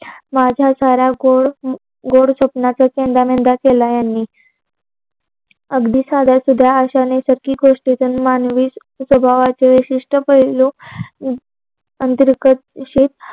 माझा साऱ्या गोड गोड स्वप्नाचा चंदा मेंदा केला यांनी. अगदी साध्या सुध्या अश्याने सारखी गोष्ट त्यांनी मानवी स्वभावाचे विशीठह् पैल अंतरगत विषयी